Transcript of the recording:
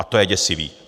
A to je děsivé.